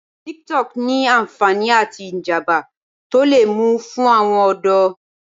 Tik-Tok ní ànfàní àti ìjàmbá tó le mú fún àwọn ọ̀dọ́.